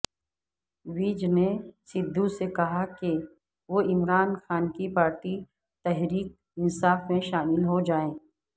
veg نے سدھو سے کہاکہ وہ عمران خان کی پارٹی تحریک انصاف میں شامل ہوجائے